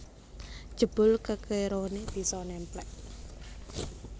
Jebul kekerone bisa nemplek